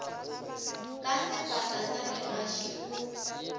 ka sefata sa legaši o